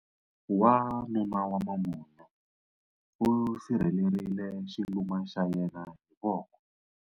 Wanuna wa mambunyu u sirhelerile xiluma xa yena hi voko.